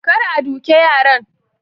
kar a duke yaran